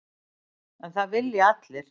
En það vilja allir.